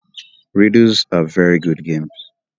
Riddles are very good games